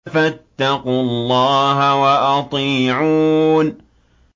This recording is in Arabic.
فَاتَّقُوا اللَّهَ وَأَطِيعُونِ